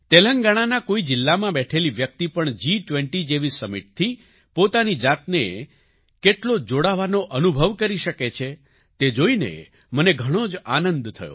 તેલંગાણાના કોઈ જિલ્લામાં બેઠેલી વ્યક્તિ પણ જી20 જેવી સમિટ થી પોતાની જાતને કેટલો જોડાવાનો અનુભવ કરી શકે છે તે જોઈને મને ઘણો જ આનંદ થયો